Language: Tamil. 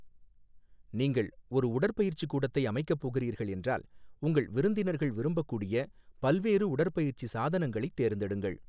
நீங்கள் ஒரு உடற்பயிற்சிக் கூடத்தை அமைக்கப் போகிறீர்கள் என்றால், உங்கள் விருந்தினர்கள் விரும்பக்கூடிய பல்வேறு உடற்பயிற்சி சாதனங்களைத் தேர்ந்தெடுங்கள்.